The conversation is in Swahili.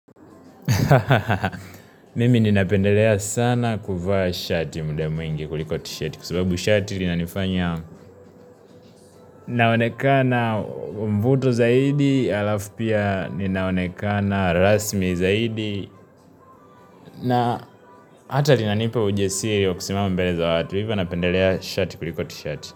Ha ha ha mimi nina pendelea sana kuva shati muda mwingi kuliko tishati kwa sababu shati linanifanya naonekana mvuto zaidi alafu pia ninaonekana rasmi zaidi na hata linanipa hujasiri ya kusimama mbele za watu, hivyo napendelea shati kuliko tishati.